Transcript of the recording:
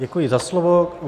Děkuji za slovo.